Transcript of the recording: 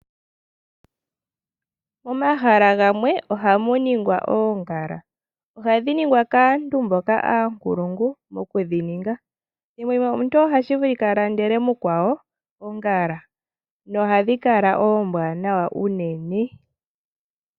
Momahala gamwe oha mu longekidhwa oongala. Ohadhi longekidhwa kaantu mboka aankulungu moku shi ninga. Omuntu ota vulu oku landela mukwawo oongala na ohadhi kala tadhi monika nawa unene.